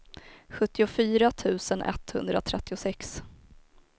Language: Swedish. sjuttiofyra tusen etthundratrettiosex